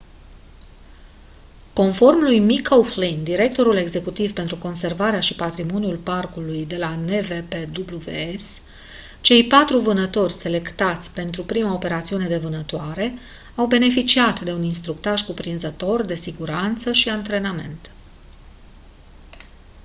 conform lui mick o'flynn directorul executiv pentru conservarea și patrimoniul parcului de la npws cei patru vânători selectați pentru prima operațiune de vânătoare au beneficiat de un instructaj cuprinzător de siguranță și antrenament